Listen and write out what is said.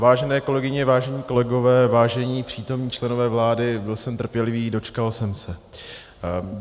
Vážené kolegyně, vážení kolegové, vážení přítomní členové vlády, byl jsem trpělivý, dočkal jsem se.